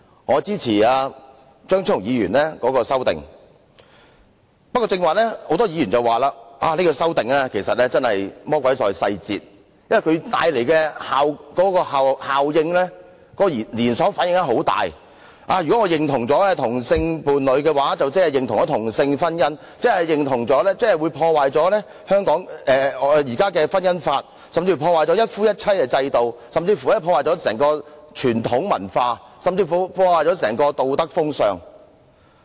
我支持張超雄議員提出的修正案，不過，剛才有很多議員表示，這項修正案屬"魔鬼在細節"，說修正案會帶來很大的後果和連鎖反應，假如認同了同性伴侶，即等於認同同性婚姻；認同同性婚姻，便會破壞現行的《婚姻條例》，甚至破壞"一夫一妻"制度、傳統文化，甚至道德風尚。